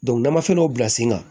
n'an ma fɛn dɔ bila sen kan